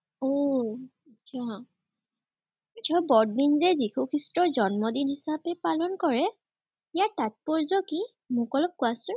উম আটছা। আটছা বৰদিন যে যীশু খ্ৰীষ্টৰ জন্মদিন হিচাপে পালন কৰে, ইয়াৰ তাত্পৰ্য্য কি মোক অলপ কোৱাচান।